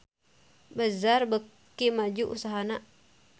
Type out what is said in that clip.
Bazaar beuki maju usahana